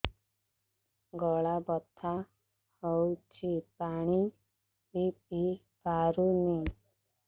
ଗଳା ବଥା ହଉଚି ପାଣି ବି ପିଇ ପାରୁନି